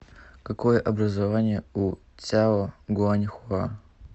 какое образование у цяо гуаньхуа